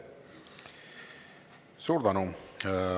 Suur tänu!